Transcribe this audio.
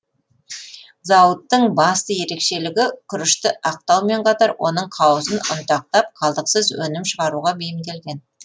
зауыттың басты ерекшелігі күрішті ақтаумен қатар оның қауызын ұнтақтап қалдықсыз өнім шығаруға бейімделген